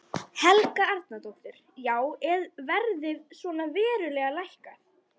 Helga Arnardóttir: Já er verðið svona verulega lækkað?